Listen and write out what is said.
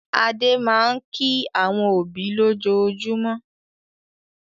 Adé máa ń kí àwọn òbí lójoojúmọ́.